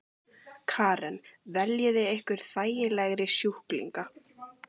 Karen: Veljið þið ykkur þægilegri sjúklinga?